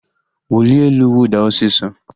Wulie elu, wụda ọsịsọ!